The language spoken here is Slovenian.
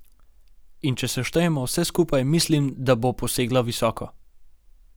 In če seštejemo vse skupaj, mislim, da bo posegla visoko.